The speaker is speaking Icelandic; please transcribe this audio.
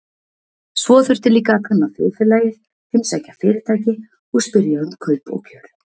Svo þurfti líka að kanna þjóðfélagið, heimsækja fyrirtæki og spyrja um kaup og kjör.